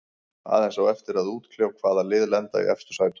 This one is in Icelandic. Aðeins á eftir að útkljá hvaða lið lenda í efstu sætunum.